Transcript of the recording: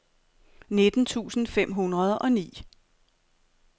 nitten tusind fem hundrede og ni